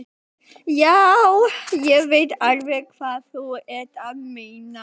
Já, ég veit alveg hvað þú ert að meina.